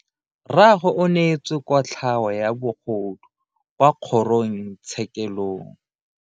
Rragwe o neetswe kotlhao ya bogodu kwa kgoro tshekelong.